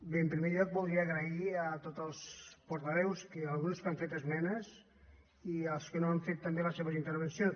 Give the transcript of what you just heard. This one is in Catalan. bé en primer lloc voldria agrair a tots els portaveus dels grups que han fet es·menes i als que no n’han fet també les seves inter·vencions